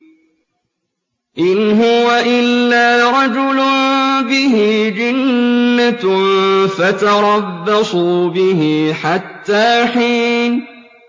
إِنْ هُوَ إِلَّا رَجُلٌ بِهِ جِنَّةٌ فَتَرَبَّصُوا بِهِ حَتَّىٰ حِينٍ